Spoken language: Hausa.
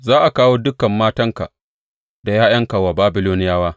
Za a kawo dukan matanka da ’ya’yanka wa Babiloniyawa.